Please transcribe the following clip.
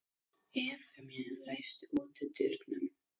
Evfemía, læstu útidyrunum.